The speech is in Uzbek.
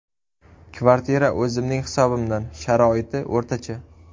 Kvartira o‘zimning hisobimdan, sharoiti o‘rtacha.